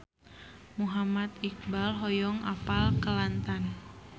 Muhammad Iqbal hoyong apal Kelantan